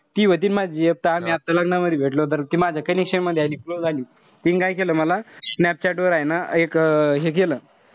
ती व्हती माझी gf त आम्ही आता लग्नामधी भेटलो तर माझ्या connection मध्ये आली close आली. तीन काय केलं मला. स्नॅपचॅट वर ए ना एक हे केलं.